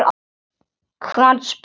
Hvern, spurði Sveinn.